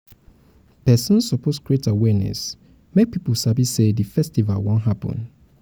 persin suppose create awareness make pipo sabi say di festival won happen